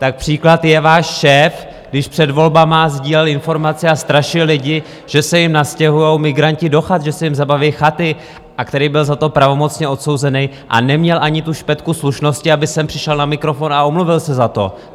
Tak příklad je váš šéf, když před volbami sdílel informace a strašil lidi, že se jim nastěhují migranti do chat, že se jim zabaví chaty, a který byl za to pravomocně odsouzený a neměl ani tu špetku slušnosti, aby sem přišel na mikrofon a omluvil se za to.